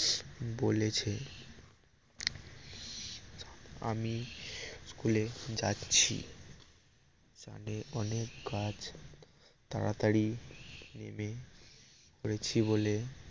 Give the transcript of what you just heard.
বলেছে আমি স্কুলে যাচ্ছি অনেক গাছ তাড়াতড়ি নেমে পরেছি বলে